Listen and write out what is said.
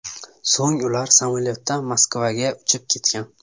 So‘ng ular samolyotda Moskvaga uchib ketgan.